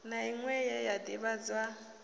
na inwe ye ya divhadzwa